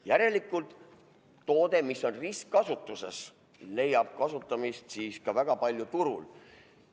Järelikult toode, mis on ristkasutuses, leiab kasutamist siis ka väga palju turul.